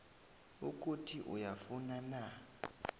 ukuthi uyafuna na